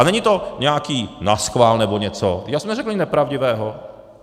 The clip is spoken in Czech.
A není to nějaký naschvál nebo něco, já jsem neřekl nic nepravdivého.